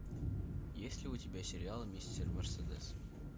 есть ли у тебя сериал мистер мерседес